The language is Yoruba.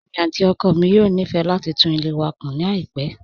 Èmi àti ọkọ mi yóò nífẹ̀ẹ́ láti tún ilé wa kun láìpẹ́.